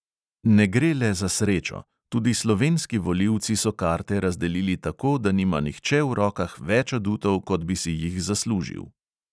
Ne gre le za srečo: tudi slovenski volilci so karte razdelili tako, da nima nihče v rokah več adutov, kot bi si jih zaslužil.